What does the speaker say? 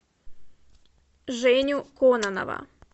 женю кононова